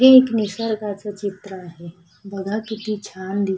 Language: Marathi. हे एक निसर्गाचं चित्र आहे बघा किती छान दि--